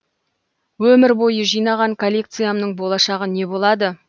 өмір бойы жинаған коллекциямның болашағы не болады